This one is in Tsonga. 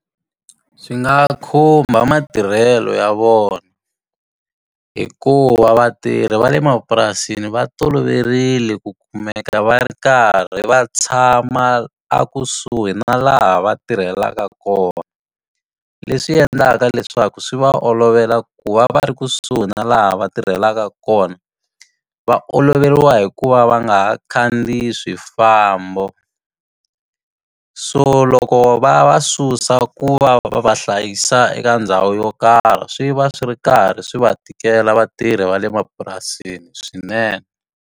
Swi nga khumba matirhelo ya vona, hikuva vatirhi va le mapurasini va toloverile ku kumeka va ri karhi va tshama a kusuhi na laha va tirhelaka kona. Leswi endlaka leswaku swi va olovela ku va va ri kusuhi na laha va tirhelaka kona, va oloveriwa hi ku va va nga ha khandziyi swifambo. So loko va ya va susa ku va va va hlayisa eka ndhawu yo karhi swi va swi ri karhi swi va tikela vatirhi va le mapurasini swinene.